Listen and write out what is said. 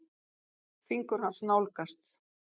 Fingur hans nálgast.